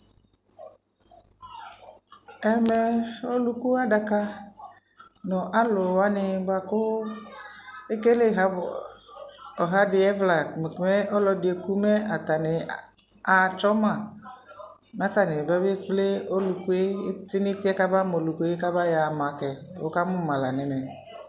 ɛmɛ ɔlʋkʋ adaka nʋ alʋwani bʋakʋ ɛkɛlɛ ɔha di ɛvla mɛ ɔlɔdi ɛkʋ mɛ atani atsɔ ma mɛ atani babɛ kplɛ ɔlʋkʋɛ tʋnʋ ɛtiɛ kaba ma ɔlʋkʋɛ mɛ ayɔ ama kɛ, wʋkamʋ ma la nʋ ɛmɛ